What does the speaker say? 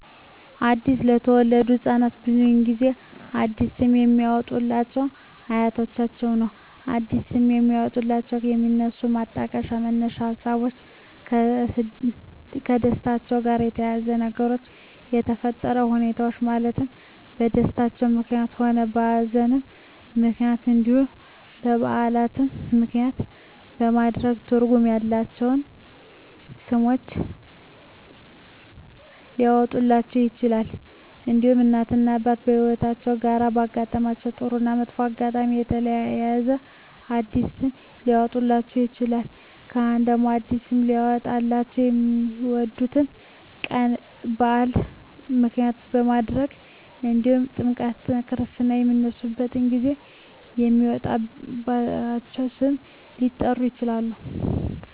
አዲስ ለተወለዱ ህፃናት ብዙውን ጊዜ አዲስ ስም የሚያወጡሏቸው አያቶቻቸውን ነው አዲስ ስም የሚያወጧላቸው የሚነሱበት ማጣቀሻ መነሻ ሀሳቦች ከደስታቸው ጋር በተያያዘ በነገሮች በተፈጠረ ሁኔታዎች ማለትም በደስታም ምክንያትም ሆነ በሀዘንም ምክንያት እንዲሁም በዓላትን ምክንያትም በማድረግ ትርጉም ያላቸው ስሞች ሊያወጡላቸው ይችላሉ። እንዲሁም እናት እና አባት ከህይወትአቸው ጋር ባሳለፉት ጥሩ እና መጥፎ አጋጣሚ በተያያዘ አዲስ ስም ሊያወጡላቸው ይችላሉ። ካህናት ደግሞ አዲስ ስም ሊያወጡላቸው የሚወለዱበት ቀን በዓል ምክንያት በማድረግ እንዲሁም ጥምረተ ክርስትና በሚነሱበት ጊዜ በሚወጣላቸው ስም ሊጠሩ ይችላሉ።